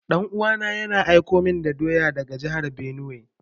Yaya na, yana aiko min doya daga jahar benue.